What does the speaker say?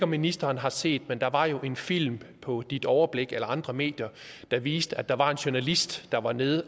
ministeren har set det men der var en film på ditoverblikdk eller andre medier der viste at der var en journalist der var nede